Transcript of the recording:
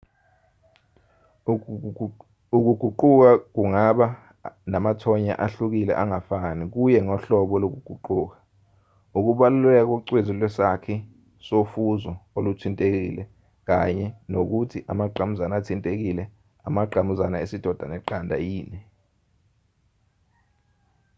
ukuguquka kungaba namathonya ahlukile angafani kuye ngohlobo lokuguquka ukubaluleka kocezu lwesakhi sofuzo oluthintekile kanye nokuthi amangqamuzana athintekile amangqamuzana esidoda neqanda yini